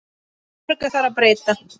Mörgu þarf að breyta.